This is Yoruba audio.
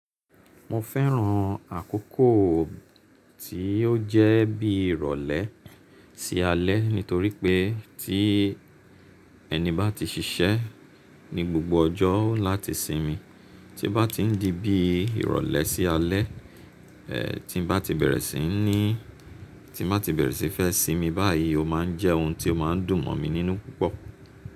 Mo fẹ́ràn àkókò tí ó jẹ́ bí ìrọ̀lẹ́ sí alẹ́ nítorí pé tí ẹni bá ti ṣiṣẹ́ ní gbogbo ọjọ́ láti sinmi, tí ó bá ti ń di bí ìrọ̀lẹ́ sí alẹ́, eh tí n bá ti bẹ̀rẹ̀ sí ní, tí n bá ti bẹ̀rẹ̀ sí fẹ́ sinmi báyìí, ó ma ń jẹ́ ohun tí ó má ń dùn mọ̀ mi nínú púpọ̀